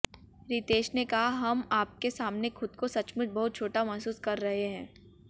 रितेश ने कहा हम आपके सामने खुद को सचमुच बहुत छोटा महसूस कर रहे हैं